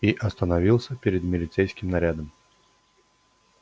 и остановился перед милицейским нарядом